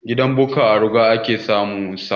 Gidan Bukka a ruga ake samun sa